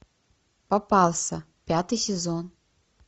попался пятый сезон